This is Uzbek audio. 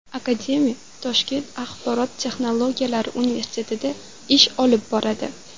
Akademiya Toshkent axborot texnologiyalari universitetida ish olib boradi.